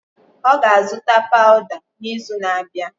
Ọ ga-azụta pawuda n'izu na-abịa.